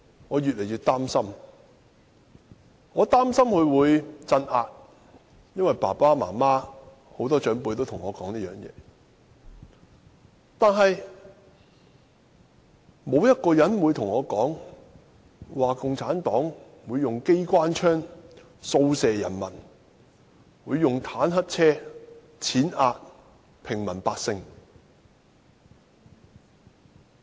我越來越擔心會出現鎮壓，因為父母和很多長輩也這樣對我說，但沒有人告訴我，共產黨會用機關槍掃射人民，會用坦克車踐壓平民百姓。